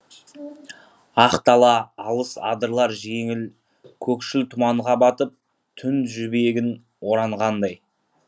ақ дала алыс адырлар жеңіл көкшіл тұманға батып түн жібегін оранғандай